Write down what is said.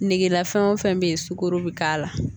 Negela fɛn o fɛn bɛ yen sukaro bɛ k'a la